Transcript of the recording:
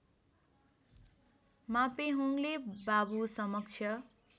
मापेहोङले बाबु समक्ष